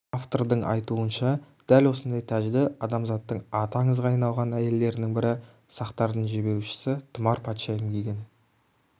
автордың айтуынша дәл осындай тәжді адамзаттың аты аңызға айналған әйелдерінің бірі сақтардың жебеушісі тұмар патшайым киген